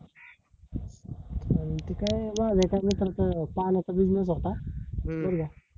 इथे काय वागले चा मित्राचा पानाचा business होता